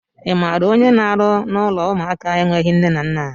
I maara onye na-arụ n'ụlọ ụmụaka enweghị nne na nna?